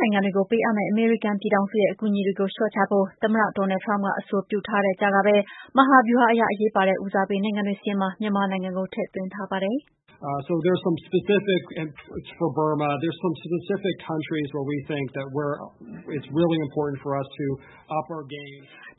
နိုင်ငံတွေကို ပေးမယ့် အမေရိကန်ရဲ့ အကူအညီတွေကို လျှော့ချဖို့ သမ္မတ Donald Trump က အဆိုပြုထားတဲ့ကြားကပဲ မဟာဗျူဟာအရ အရေးပါတဲ့ ဦးစားပေးနိုင်ငံတွေ စာရင်းမှာ မြန်မာနိုင်ငံကို ထည့်သွင်းထားပါတယ်။